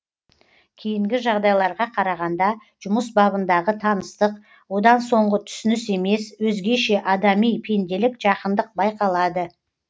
кейінгі жағдайларға қарағанда жұмыс бабындағы таныстық одан соңғы түсініс емес өзгеше адами пенделік жақындық байқалады